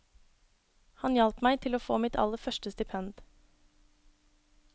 Han hjalp meg til å få mitt aller første stipend.